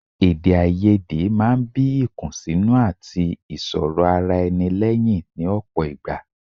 Èdèáiyedé máa ń bí ìkùnsínú àti ìsọrọ̀-ara-ẹni lẹ́yìn ní ọ̀pọ̀ ìgbà.